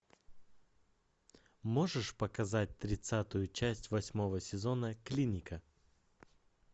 можешь показать тридцатую часть восьмого сезона клиника